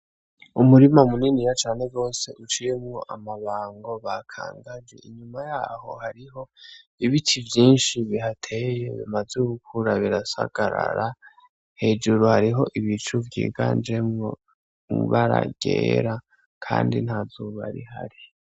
Umurima muniniya cane gose uciyemwo amabango bakangaje, inyuma yaho hariho ibiti vyinshi bihateye, bimaze gukura birasagarara. Hejuru hariho ibicu vyiganjemwo ibara ryera kandi nta zuba rihari.